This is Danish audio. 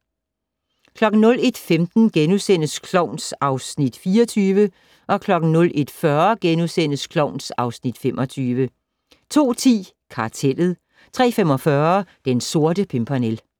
01:15: Klovn (Afs. 24)* 01:40: Klovn (Afs. 25)* 02:10: Kartellet 03:45: Den Sorte Pimpernel